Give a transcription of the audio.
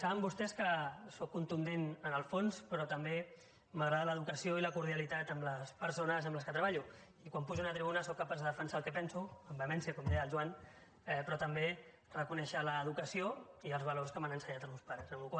saben vostès que sóc contundent en el fons però també m’agrada l’educació i la cordialitat amb les persones amb qui treballo i quan pujo a una tribuna sóc capaç de defensar el que penso amb vehemència com deia el joan però també reconèixer l’educació i els valors que m’han ensenyat els meus pares